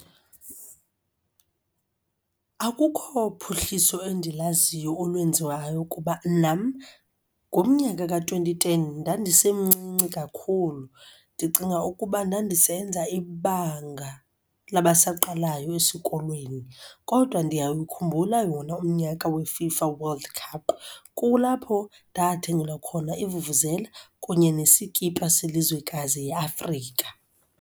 Akukho phuhliso endilaziyo olwenziwayo kuba nam ngomnyaka ka-twenty ten ndandisemncinci kakhulu. Ndicinga ukuba ndandisenza ibanga labasaqalayo esikolweni kodwa ndiyayikhumbula wona umnyaka weFIFA World Cup. Kulapho ndathengelwa khona ivuvuzela kunye nesikipha selizwekazi iAfrika.